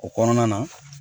O kɔnɔna na